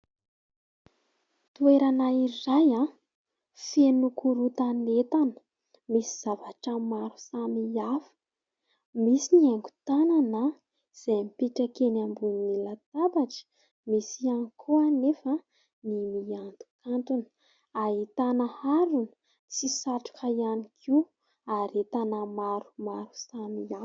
Toerana iray feno korontan'entana. Misy zavatra maro samihafa. Misy ny haingo tanana izay mipetraka eny ambonin'ny latabatra, misy ihany koa anefa ny miantokantona. Ahitana harona sy satroka ihany koa ary entana maromaro samihafa.